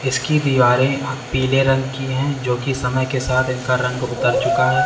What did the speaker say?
इसकी दीवारें पीले रंग की है जो कि समय के साथ इनका रंग उतर चुका है।